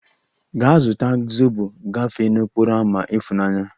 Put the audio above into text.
Gaa zụta zobo gafee n'okporo ámá ifunanya!